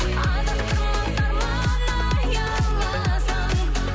адастырмас арман аяуласаң